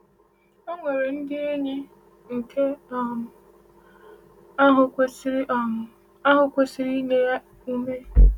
O nwere ndị enyi, nke um ahụ kwesiri um ahụ kwesiri inye ya ume.